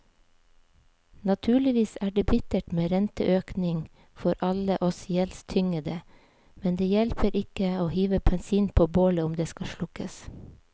Naturligvis er det bittert med renteøkning for alle oss gjeldstyngede, men det hjelper ikke å hive bensin på bålet om det skal slukkes.